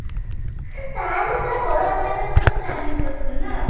ତାହେଲେ ବଡ ଆକାରରେ planning କରିଛୁ ନାଁ?